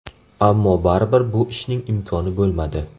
Ammo baribir bu ishning imkoni bo‘lmadi.